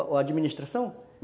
A administração?